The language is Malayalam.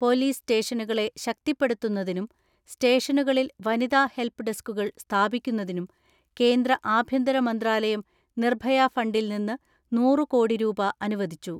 പൊലീസ് സ്റ്റേഷനുകളെ ശക്തിപ്പെടുത്തുന്നതിനും സ്റ്റേഷനുകളിൽ വനിതാ ഹെൽപ്പ് ഡെസ്ക്കുകൾ സ്ഥാപിക്കുന്നതിനും കേന്ദ്ര ആഭ്യന്തരമന്ത്രാലയം നിർഭയ ഫണ്ടിൽ നിന്ന് നൂറ് കോടി രൂപ അനുവദിച്ചു.